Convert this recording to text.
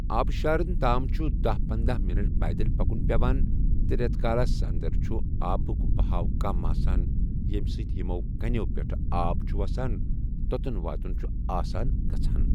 آبشارن تام چھُ دہَ پندہَ منٹ پیدل پَکُن پٮ۪وان تہِ رٮ۪تہٕ کالِس انٛدر چھُ آبُک بہاؤ کم آسان ییمہِ سۭتۍ یِمَو کٔنٮیو پٮ۪ٹھ آب چھُ وَسان توٚتٮ۪ن واتُن چھُ آسان گژھان